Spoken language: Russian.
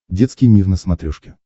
детский мир на смотрешке